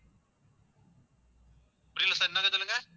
புரியல sir இன்னொரு தடவை சொல்லுங்க